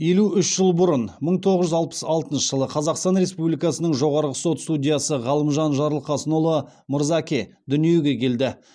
елу үш жыл бұрын мың тоғыз жүз алпыс алтыншы жылы қазақстан республикасының жоғарғы сот судьясы ғалымжан жарылқасынұлы мырзаке дүниеге келді